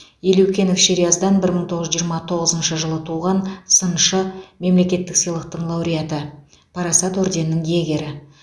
елеукенов шериаздан бір мың тоғыз жүз жиырма тоғызыншы жылы туған сыншы мемлекеттік сыйлықтың лауреаты парасат орденінің иегері